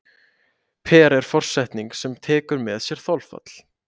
per er forsetning sem tekur með sér þolfall